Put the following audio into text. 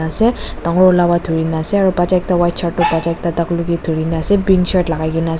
ase dangor wala wara thuri na ase aro bacha ekta white shirt bacha ekta taklu ke thuri na ase pink shirt lagai na ase.